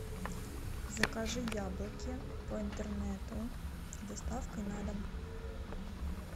закажи яблоки по интернету с доставкой на дом